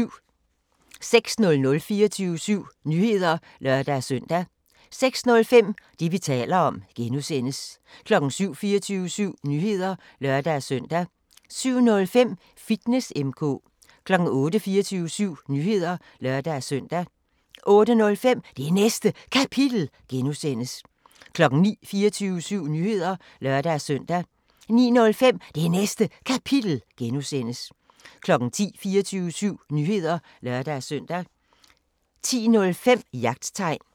06:00: 24syv Nyheder (lør-søn) 06:05: Det, vi taler om (G) 07:00: 24syv Nyheder (lør-søn) 07:05: Fitness M/K 08:00: 24syv Nyheder (lør-søn) 08:05: Det Næste Kapitel (G) 09:00: 24syv Nyheder (lør-søn) 09:05: Det Næste Kapitel (G) 10:00: 24syv Nyheder (lør-søn) 10:05: Jagttegn